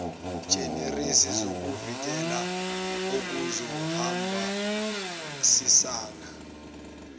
generis zokuvikela okuzohambisana